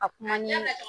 A kuma ɲɛ